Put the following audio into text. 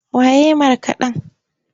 Wa ya yi markaɗen?